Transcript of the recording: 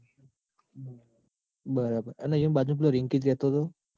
બરાબર એ બાજુ પેલો રિંકીત રેતો તો